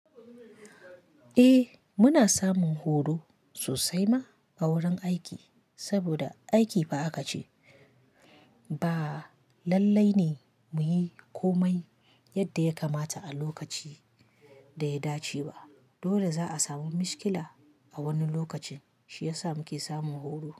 Eh muna samun horo sosai ma a wurin aiki saboda aiki fa aka ce ba. Lallai ne muyi komai yadda ya kamata a lokaci da ya dace ba. Dole za'a samu mishkila a wani lokacin. Shi yasa muke samun horo.